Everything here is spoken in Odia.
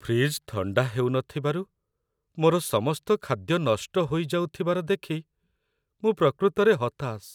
ଫ୍ରିଜ୍‌ ଥଣ୍ଡା ହେଉନଥିବାରୁ ମୋର ସମସ୍ତ ଖାଦ୍ୟ ନଷ୍ଟ ହୋଇଯାଉଥିବାର ଦେଖି ମୁଁ ପ୍ରକୃତରେ ହତାଶ।